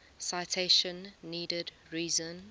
citation needed reason